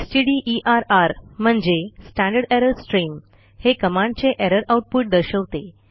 स्टडर म्हणजे standard error stream हे कमांडचे एरर आऊटपुट दर्शवते